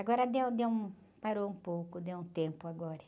Agora deu, deu um, parou um pouco, deu um tempo agora.